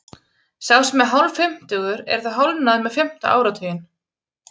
Sá sem er hálffimmtugur er þá hálfnaður með fimmta áratuginn.